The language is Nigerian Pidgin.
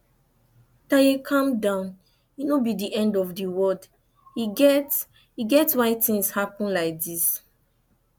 taye calm down e no be the end of the world e get e get why things happen like dis